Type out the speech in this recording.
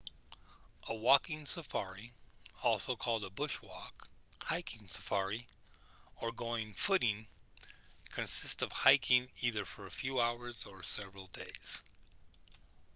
a walking safari also called a bush walk hiking safari or going footing consists of hiking either for a few hours or several days